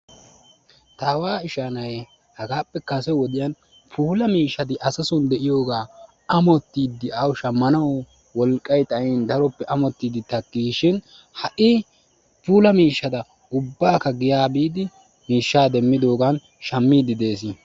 Ta aawa ishaa na'ay hagaappe kase wodiyan puulaa miishshaati asasoon de'iyogaa ammottiidi awu shammanawu wolqqay xayn daroppe ammottidi takkiis shin ha'i puulaa miishshaata ubbakka giyaa biidi miishshaa demmiddoogan shammiidi dees.